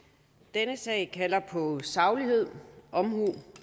denne sag kalder på saglighed omhu